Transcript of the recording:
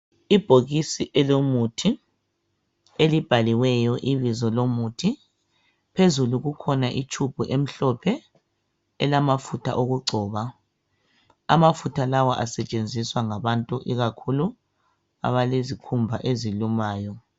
Ibhokisi elomuthi elibhaliweyo ibizo lomuthi, phezulu kukhona itube emhlophe, elamafutha okugcoba, amafutha lawa asetshenziswa ngabantu ikakhulu abalezikhumba ezilumayo.